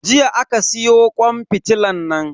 Jiya aka siyo kwan fitilan nan.